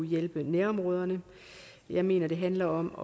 hjælpe nærområderne jeg mener at det handler om